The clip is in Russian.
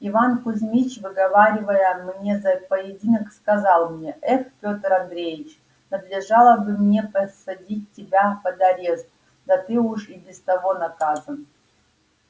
иван кузмич выговаривая мне за поединок сказал мне эх пётр андреич надлежало бы мне посадить тебя под арест да ты уж и без того наказан